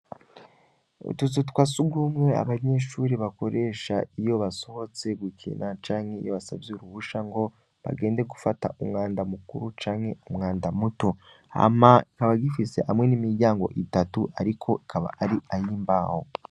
Ututu twa si ugumwe abanyeshuri bakoresha iyo basohotse gukina canke iyo basavye uruhusha ngo bagende gufata umwanda mukuru canke umwanda muto hama ikaba gifise hamwe n'imiryango itatu, ariko kaba ari ayimbawo.